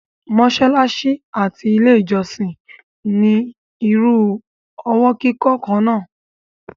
mọ́sálásí àti ilé ìjọ́sìn ní irú ọwọ́ kíkọ́ kan náà.